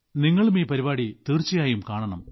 നിങ്ങളും ഈ പരിപാടി കാണണം